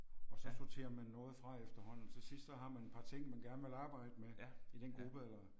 Og så sorterer man noget fra efterhånden til sidst så har man et par ting man gerne vil arbejde med i den gruppe eller